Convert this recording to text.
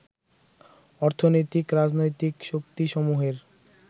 অর্থনৈতিক, রাজনৈতিক শক্তিসমূহের